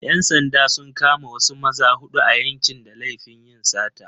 ‘Yan sanda sun kama wasu maza huɗu a yankin da laifin yin sata.